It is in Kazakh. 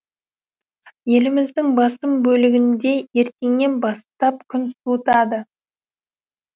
еліміздің басым бөлігінде ертеңнен бастап күн суытады